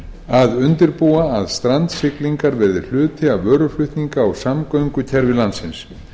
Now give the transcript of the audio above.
að undirbúa að strandsiglingar verði hluti af vöruflutninga og samgöngukerfi landsins